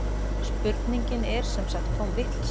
Spurningin er sem sagt tóm vitleysa